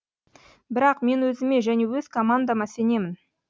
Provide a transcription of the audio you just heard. бірақ мен өзіме және өз командама сенемін